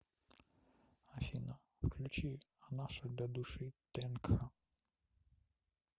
афина включи анаша для души тэнка